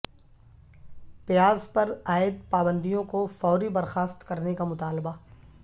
پیاز پر عائد پابندیوں کو فوری برخاست کرنے کا مطالبہ